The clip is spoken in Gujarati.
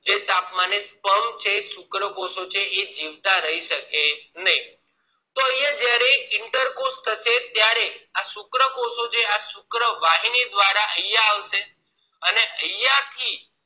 જે તાપમાને sperm છે જે શુક્રકોષો છે એ જીવતા રહી શકે નહિ તો અહિયાં જયારે interposh થશે આ શુક્રકોષો આ શુક્રવાહીની દ્વારા અહિયાં આવશે અને અહીંયા થી જે તાપમાને